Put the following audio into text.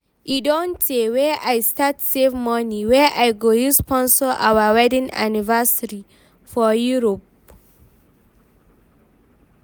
E don tey wey I start save money wey I go use sponsor our wedding anniversary for Europe